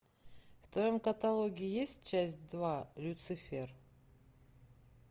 в твоем каталоге есть часть два люцифер